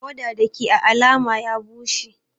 Tawada Dake à alama ya bushe.